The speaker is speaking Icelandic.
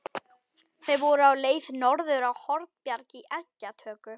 Þeir voru á leið norður á Hornbjarg í eggjatöku.